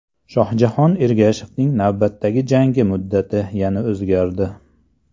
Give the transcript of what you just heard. Shohjahon Ergashevning navbatdagi jangi muddati yana o‘zgardi.